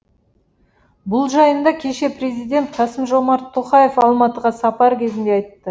бұл жайында кеше президент қасым жомарт тоқаев алматыға сапары кезінде айтты